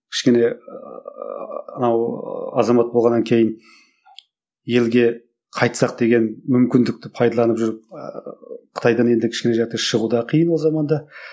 кішкене ыыы мынау ыыы азамат болғаннан кейін елге қайтсақ деген мүмкіндікті пайдаланып жүріп ыыы қытайдан енді шығу да қиын ол заманда